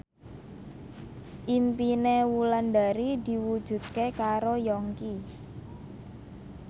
impine Wulandari diwujudke karo Yongki